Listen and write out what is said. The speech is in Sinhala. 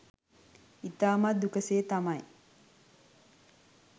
ඉතාමත් දුක සේ තමයි